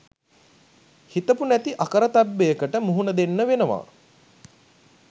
හිතපු නැති අකරතැබ්බයකට මුහුණ දෙන්න වෙනවා.